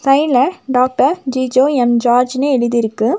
சைடுல doctor Jijo M ஜார்ஜ்னு எழுதிருக்கு.